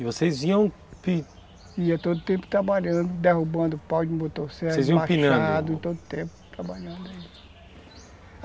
E vocês iam... Iam todo o tempo trabalhando, derrubando pau de motosserra, vocês iam empinando, machado, todo o tempo, trabalhando, é.